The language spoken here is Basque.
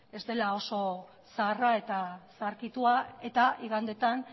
ez dela oso zaharra eta zaharkitua eta igandetan